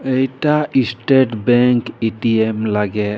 इटा स्टेट बैंक ए_टी_एम लागे।